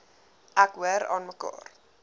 ek hoor aanmekaar